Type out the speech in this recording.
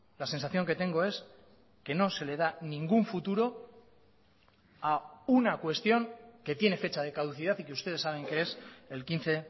la sensación que tengo es que no se le da ningún futuro a una cuestión que tiene fecha de caducidad y que ustedes saben que es el quince